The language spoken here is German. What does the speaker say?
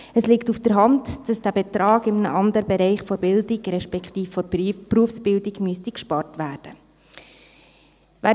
Es liegt auf der Hand, dass dieser Betrag in einem anderen Bereich der Bildung, respektive der Berufsbildung, gespart werden müsste.